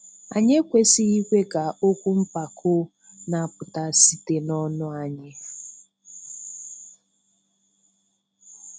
Anyị ekwesịghị ikwe ka okwu mpako na-apụta site n'ọnụ anyị.